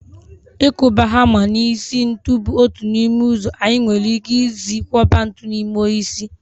Ịkụba hama n'isi ntu bụ otu n'ime ụzọ anyị nwere ike isi kwọba ntu n'ime osisi